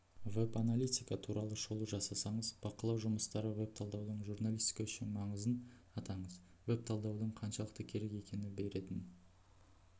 веб-аналитика туралы шолу жасаңыз бақылау жұмыстары веб-талдаудың журналистика үшін маңызын атаңыз веб-талдауың қаншалықты керек екені беретін